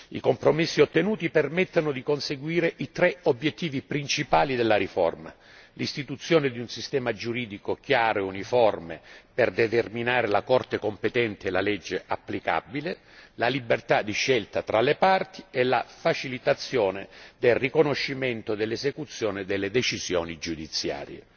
I compromessi ottenuti permettono di conseguire i tre obiettivi principali della riforma l'istituzione di un sistema giuridico chiaro e uniforme per determinare la Corte competente e la legge applicabile, la libertà di scelta fra le parti e la facilitazione del riconoscimento dell'esecuzione delle decisioni giudiziarie.